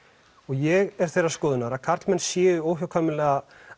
og ég er þeirrar skoðunar að karlmenn séu óhjákvæmilega